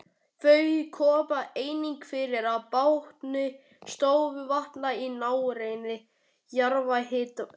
Þau koma einnig fyrir á botni stöðuvatna í nágrenni jarðhitasvæða.